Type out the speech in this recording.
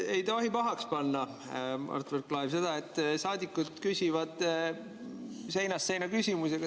Ei tohi pahaks panna, Mart Võrklaev, seda, et saadikud küsivad seinast seina küsimusi.